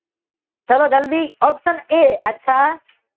ચાલો જલ્દી ઓપ્શન એ અચ્છા